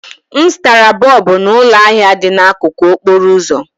M zụtara bọlbụ n'ụlọ ahịa dị n'akụkụ okporo ụzọ